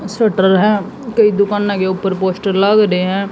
Subtle है। कई दुकानों के ऊपर पोस्टर लग रहे हैं।